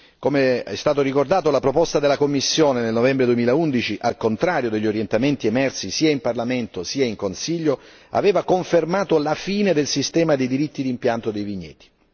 Com'è stato ricordato, la proposta della Commissione nel novembre 2011, al contrario degli orientamenti emersi sia in Parlamento sia in Consiglio, aveva confermato la fine del sistema dei diritti d'impianto dei vigneti.